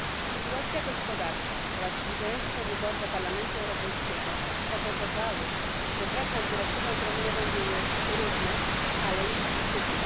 Sytuacja gospodarcza oraz zbliżające się wybory do Parlamentu Europejskiego spowodowały, że prace nad dyrektywą wdrożeniową były trudne, ale intensywne.